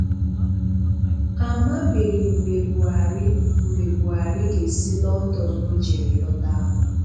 A mabeghi mgbe Buharị mgbe Buharị ga-esi London o jere lọta